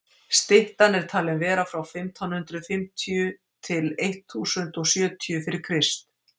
styttan er talin vera frá fimmtán hundrað fimmtíu til eitt þúsund og sjötíu fyrir krist